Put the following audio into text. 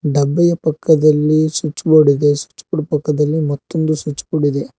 ಡಬ್ಬೆಯ ಪಕ್ಕದಲ್ಲಿ switch board ಇದೆ switch board ಪಕ್ಕದಲ್ಲಿ ಇನ್ನೊಂದು ಸ್ವಿಚ್ ಬೋರ್ಡ್ ಇದೆ.